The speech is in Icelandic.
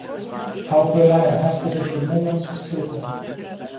Hábaula er hæsti hryggur Múlans í Skriðdal.